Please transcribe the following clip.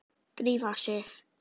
Drífa sig